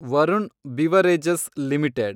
Varun beverages limited